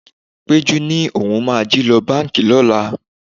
Péjú ni òun máa jí lọ báńkì lọ́la.